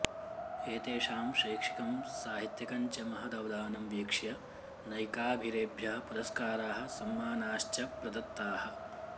एतेषां शैक्षिकं साहित्यिकञ्च महदवदानं वीक्ष्य नैकाभिरेभ्यः पुरस्काराः सम्मानाश्च प्रदत्ताः